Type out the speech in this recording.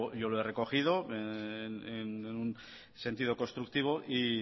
yo lo he recogido en sentido constructivo